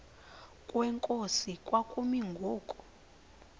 kwenkosi kwakumi ngoku